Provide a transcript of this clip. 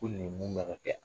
Ko nin kun kan ka kɛ a?